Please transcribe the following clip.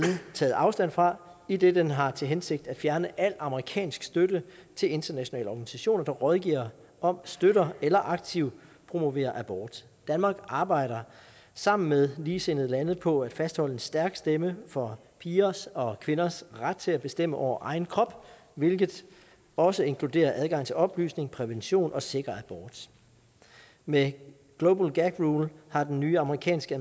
taget afstand fra idet den har til hensigt at fjerne al amerikansk støtte til internationale organisationer der rådgiver om støtter eller aktivt promoverer abort danmark arbejder sammen med ligesindede lande på at fastholde en stærk stemme for pigers og kvinders ret til at bestemme over egen krop hvilket også inkluderer adgang til oplysning prævention og sikker abort med global gag rule har den nye amerikanske